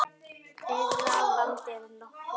Þeirra vandi er nokkur.